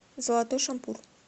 золотой шампур